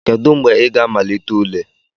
Kedu mgbe ị ga-amalite ule?